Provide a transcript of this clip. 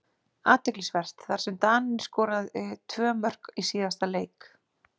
Athyglisvert, þar sem Daninn skoraði tvö mörk í síðasta leik.